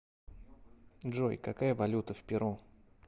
джой какая валюта в перу